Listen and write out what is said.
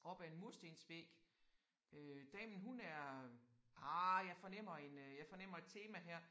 Opad en murstensvæg øh damen hun er ah jeg fornemmer en øh jeg fornemmer et tema her